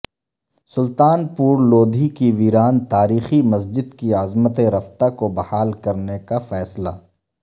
سلطان پور لودھی کی ویران تاریخی مسجد کی عظمت رفتہ کو بحال کرنے کا فیصلہ